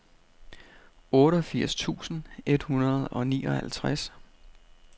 otteogfirs tusind et hundrede og nioghalvtreds